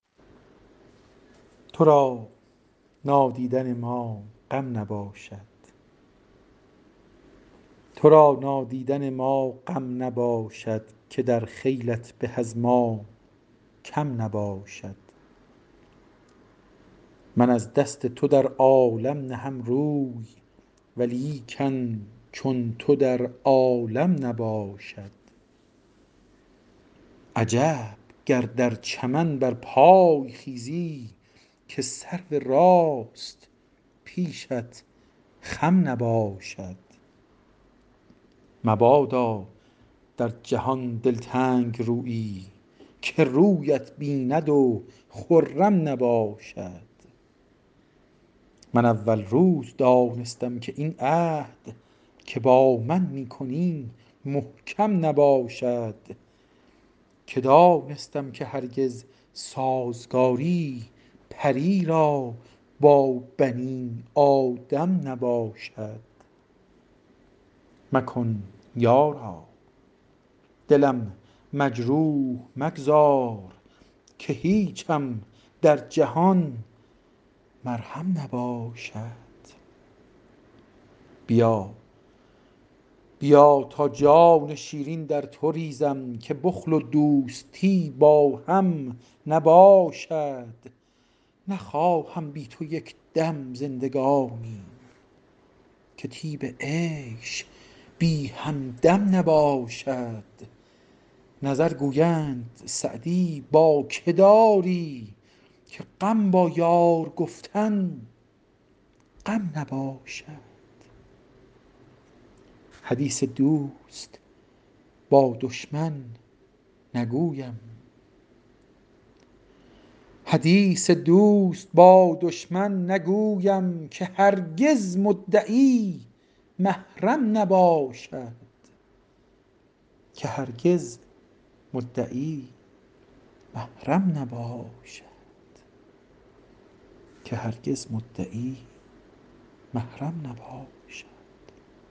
تو را نادیدن ما غم نباشد که در خیلت به از ما کم نباشد من از دست تو در عالم نهم روی ولیکن چون تو در عالم نباشد عجب گر در چمن برپای خیزی که سرو راست پیشت خم نباشد مبادا در جهان دلتنگ رویی که رویت بیند و خرم نباشد من اول روز دانستم که این عهد که با من می کنی محکم نباشد که دانستم که هرگز سازگاری پری را با بنی آدم نباشد مکن یارا دلم مجروح مگذار که هیچم در جهان مرهم نباشد بیا تا جان شیرین در تو ریزم که بخل و دوستی با هم نباشد نخواهم بی تو یک دم زندگانی که طیب عیش بی همدم نباشد نظر گویند سعدی با که داری که غم با یار گفتن غم نباشد حدیث دوست با دشمن نگویم که هرگز مدعی محرم نباشد